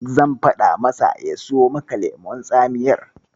Zan faɗa masa ya siyo maka lemon tsamiyar.